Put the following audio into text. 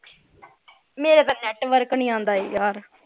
ਮੇਰੇ ਤਾਂ network ਨਹੀਂ ਆਂਦਾ ਯਾਰ